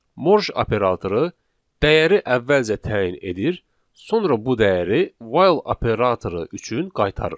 Morj operatoru dəyəri əvvəlcə təyin edir, sonra bu dəyəri while operatoru üçün qaytarır.